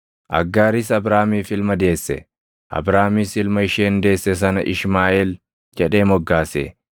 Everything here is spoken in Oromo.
Aggaaris Abraamiif ilma deesse; Abraamis ilma isheen deesse sana Ishmaaʼeel jedhee moggaase.